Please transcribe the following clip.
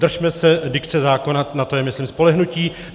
Držme se dikce zákona, na to je, myslím, spolehnutí.